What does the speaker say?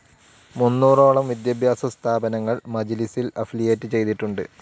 മുന്നോറോളം വിദ്യാഭ്യാസ സ്ഥാപനങ്ങൾ മജ്ലിസിൽ അഫിലിയേറ്റ്‌ ചെയ്തിട്ടുണ്ട്.